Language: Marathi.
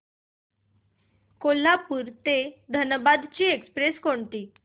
कोल्हापूर ते धनबाद ची एक्स्प्रेस कोणती